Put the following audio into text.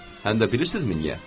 Həm də bilirsizmi niyə?